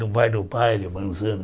Não vai no baile, o manzana?